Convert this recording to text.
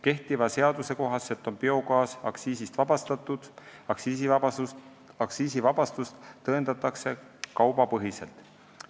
Kehtiva seaduse kohaselt on biogaas aktsiisist vabastatud, aktsiisivabastust tõendatakse kaubapõhiselt.